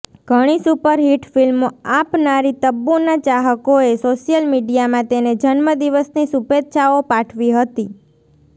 ઘણી સુપરહિટ ફિલ્મો આપનારી તબ્બુના ચાહકોએ સોશિયલ મીડિયામાં તેને જન્મ દિવસની શુભેચ્છાઓ પાઠવી હતી